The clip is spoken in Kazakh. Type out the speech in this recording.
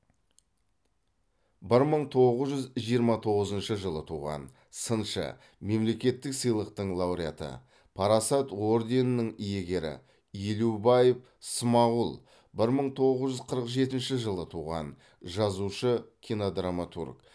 бір мың тоғыз жүз жиырма тоғызыншы жылы туған сыншы мемлекеттік сыйлықтың лауреаты парасат орденінің иегері елубаев смағұл бір мың тоғыз жүз қырық жетінші жылы туған жазушы кинодраматург